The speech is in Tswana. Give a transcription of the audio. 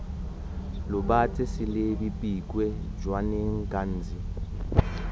lobatse selebi pikwe jwaneng ghanzi